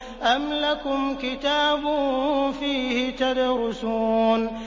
أَمْ لَكُمْ كِتَابٌ فِيهِ تَدْرُسُونَ